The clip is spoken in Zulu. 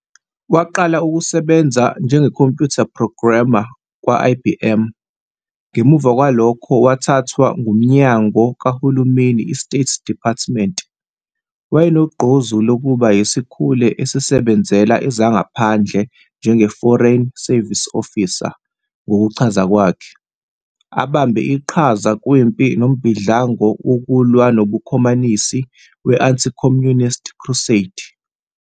Waqala ukusebenza njenge-computer programmer kwa-IBM, ngemuva kwalokho wathathwa ngumyango kahulumeni i-State Department. Wayenogqozi lokuba yisikhule esisebenzela ezangaphandle njenge-foreign service officer ngokuchaza kwakhe ukuthi, "abambe iqhaza kwimpi nombhidlango wokulwa nobuKhomanisi we-anti-Communist crusade".